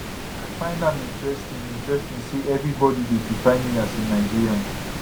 i find am interesting interesting say evribodi dey define me as a nigerian